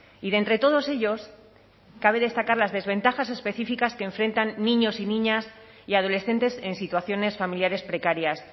y de entre todos ellos cabe destacar las desventajas específicas que enfrentan niños y niñas y adolescentes en situaciones familiares precarias